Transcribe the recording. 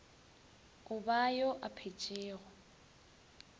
o ba yo a phetšego